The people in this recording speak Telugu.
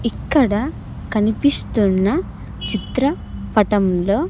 ఇక్కడ కనిపిస్తున్న చిత్ర పటంలో.